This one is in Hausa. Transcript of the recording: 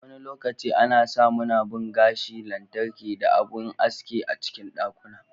Wani lokaci ana samunabun gashi lantarki da abun aski a cikin ɗakuna.